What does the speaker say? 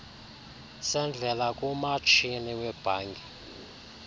sendlela kumatshini webhanki